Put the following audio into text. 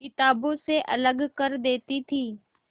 किताबों से अलग कर देती थी